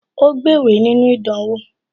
Ó gbéwèé nínú ìdánwò